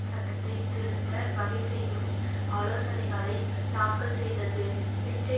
சட்டத்தை திருத்த வகை செய்யும் ஆலோசனைகளைத் தாக்கல் செய்தது பிச்சை